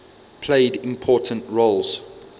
played important roles